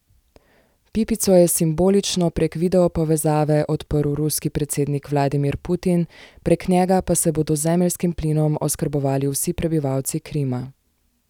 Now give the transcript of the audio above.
Pipico je simbolično prek videopovezave odprl ruski predsednik Vladimir Putin, prek njega pa se bodo z zemeljskim plinom oskrbovali vsi prebivalci Krima.